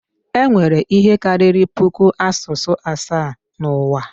Enwere ihe karịrị puku asụsụ asaa n'ụwa